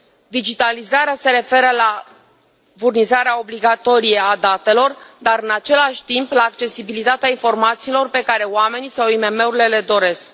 Digitalizarea se referă la furnizarea obligatorie a datelor, dar în același timp la accesibilitatea informațiilor pe care oamenii sau IMM urile le doresc.